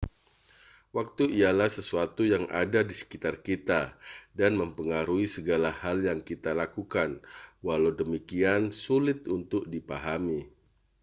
waktu ialah sesuatu yang ada di sekitar kita dan memengaruhi segala hal yang kita lakukan walau demikian sulit untuk dipahami